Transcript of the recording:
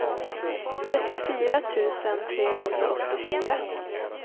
trettiofyra tusen trehundraåttiofyra